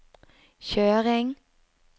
kjøring